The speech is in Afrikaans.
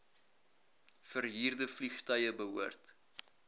verhuurde vliegtuie behoort